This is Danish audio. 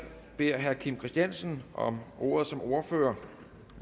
beder herre kim christiansen om ordet som ordfører